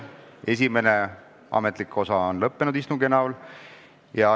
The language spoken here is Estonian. Istungi esimene, ametlik osa on lõppenud.